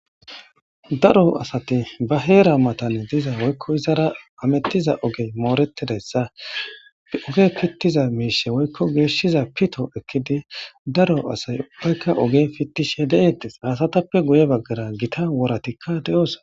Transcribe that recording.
daro asati ba heera matane diza woykko izara amettiza oge mooretideyssa oge pittiza miishe woykko geeshshiza pito ekkidi daro asay ubbaykka oge pittishe deeettes haasatappe guye baggara gita woratikka de7os